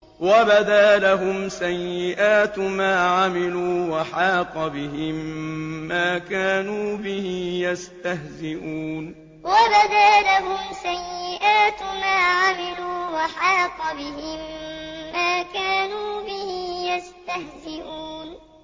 وَبَدَا لَهُمْ سَيِّئَاتُ مَا عَمِلُوا وَحَاقَ بِهِم مَّا كَانُوا بِهِ يَسْتَهْزِئُونَ وَبَدَا لَهُمْ سَيِّئَاتُ مَا عَمِلُوا وَحَاقَ بِهِم مَّا كَانُوا بِهِ يَسْتَهْزِئُونَ